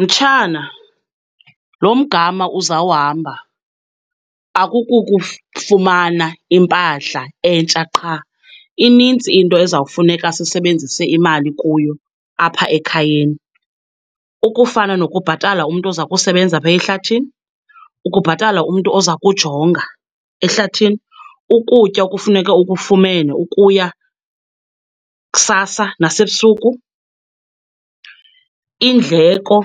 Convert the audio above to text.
Mtshana, loo mgama uzawuhamba fumana impahla entsha qha, inintsi into ezawufuneka sisebenzise imali kuyo apha ekhayeni. Ukufana nokubhatala umntu ozakusebenza phaya ehlathini, ukubhatala umntu ozakujonga ehlathini, ukutya okufuneke ukufumene ukuya kusasa nasebusuku, iindleko